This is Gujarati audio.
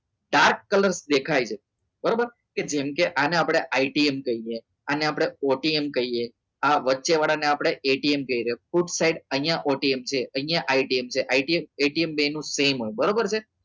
દેખાય છે બરાબર જેમ કે આપણે આને આપણે ITM કહીએ અને આપણે OTM કહીએ આ વચ્ચેવાળાને આપણે એટીએમ કહીએ છે અહીંયા OTM છે અહીંયા છે બેનો same હોય બરોબર છે